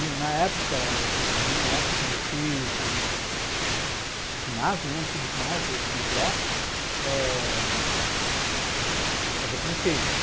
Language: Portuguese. Na época, na minha época, quando eu fiz o o o ginásio, o antigo ginásio, o segundo grau, eh eu fazia francês.